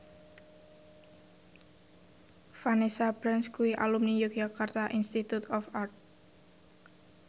Vanessa Branch kuwi alumni Yogyakarta Institute of Art